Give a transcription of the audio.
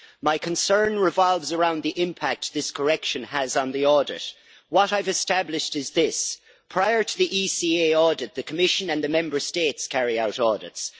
My concern revolves around the impact this correction has on the audit. What I have established is this prior to the ECA audit, the Commission and the Member States carry out audits.